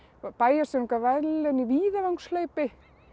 bæjarstjórinn gaf verðlaun í víðavangshlaupi